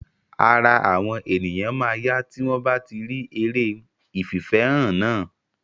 Ara àwọn ènìyàn máa yá tí wọ́n bá tí eré ìfìfẹ́hàn náà.